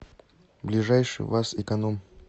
ближайший ваз эконом